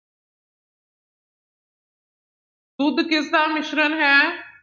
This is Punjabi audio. ਦੁੱਧ ਕਿਸਦਾ ਮਿਸ਼ਰਣ ਹੈ?